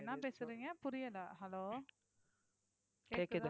என்ன பேசுறீங்க புரியல Hello